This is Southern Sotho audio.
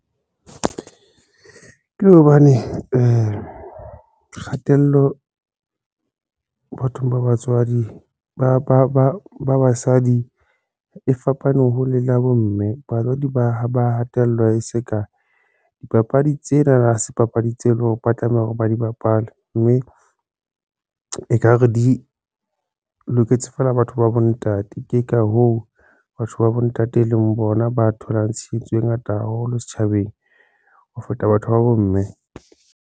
Ke hobane kgatello bathong ba batswadi basadi e fapane hole le ya bomme batswadi ba hatellwa e se ka dipapadi tsena na se papadi tse leng hore ba tlameha hore ba di bapale mme ekare di loketse feela batho ba bontate, ke ka hoo batho ba bontate e leng bona ba tholang tshehetso e ngata haholo setjhabeng ho feta batho ba bomme.